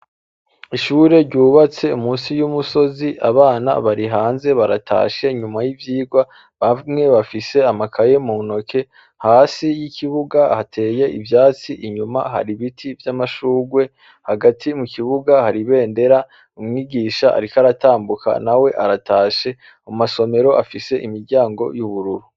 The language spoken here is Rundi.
Ishure ryubatse munsi yumusozi abana barihanze baratashe nyuma yivyirwa bamwe bafise amakaye muntoke hasi yikibuga hateye ivyatsi inyuma hari ibiti vyamashurwe hagati mukibuga hari ibendera umwigisha ariko aratambuka nawe aratashe mumasomero afise imiryango yubururu